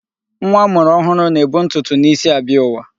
Nwa amụrụ ọhụrụ na-ebu ntụtụ n'isi abịa ụwa.